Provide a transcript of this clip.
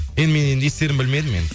енді мен енді не істерімді білмедім енді